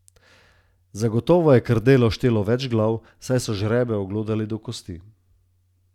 Sem.